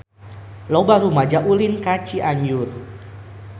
Loba rumaja ulin ka Cianjur